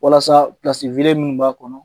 Walasa minnu b'a kɔnɔ